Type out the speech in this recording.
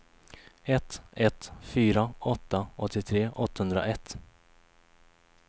ett ett fyra åtta åttiotre åttahundraett